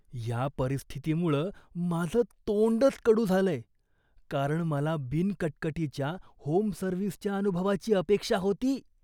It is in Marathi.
या परिस्थितीमुळं माझं तोंडच कडू झालंय, कारण मला बिनकटकटीच्या होम सर्व्हिसच्या अनुभवाची अपेक्षा होती.